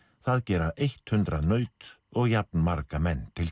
það gera eitt hundrað naut og jafnmarga menn til